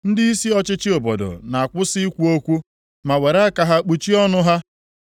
ndịisi ọchịchị obodo na-akwụsị ikwu okwu ma were aka ha kpuchie ọnụ ha;